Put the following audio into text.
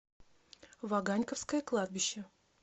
ваганьковское кладбище